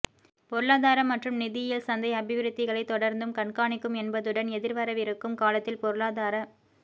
பொருளாதார மற்றும் நிதியியல் சந்தை அபிவிருத்திகளைத் தொடர்ந்தும் கண்காணிக்கும் என்பதுடன் எதிர்வரவிருக்கும் காலத்தில் பொருளாதார